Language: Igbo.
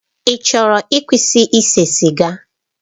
Ị chọrọ ịkwụsị ise siga?